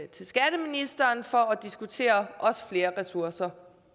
til skatteministeren for at diskutere flere ressourcer